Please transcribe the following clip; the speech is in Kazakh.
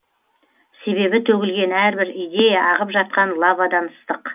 себебі төгілген әрбір идея ағып жатқан лавадан ыстық